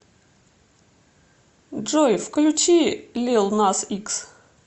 джой включи лил нас икс